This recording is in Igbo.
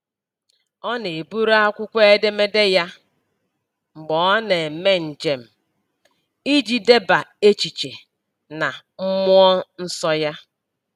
Ọ na-eburu akwụkwọ edemede ya mgbe ọ na-eme njem, iji deba echiche na mmụọ nsọ ya.